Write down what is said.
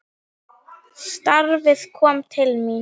Starfið kom til mín!